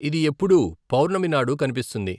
ఇది ఎప్పుడూ పౌర్ణమి నాడు కనిపిస్తుంది.